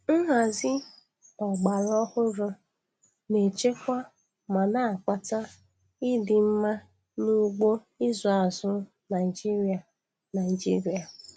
Nhazi ọgbara ọhụrụ na-echekwa ma na-akpata ịdị mma n'ugbo ịzụ azụ Naịjiria Naịjiria.